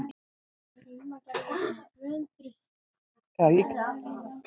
Á það hvort tveggja við um þá sem vilja koma höggi á Þjóðkirkjuna og samkynhneigða.